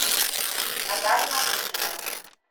наталья мартышина